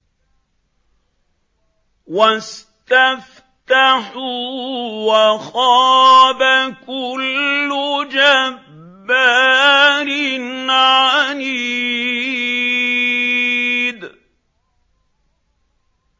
وَاسْتَفْتَحُوا وَخَابَ كُلُّ جَبَّارٍ عَنِيدٍ